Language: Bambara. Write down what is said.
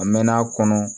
A mɛnna a kɔnɔ